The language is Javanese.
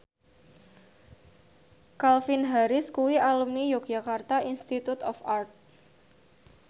Calvin Harris kuwi alumni Yogyakarta Institute of Art